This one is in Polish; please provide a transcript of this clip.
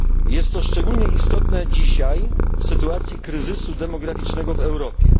Jest to szczególnie istotne dzisiaj, w sytuacji kryzysu demograficznego w Europie.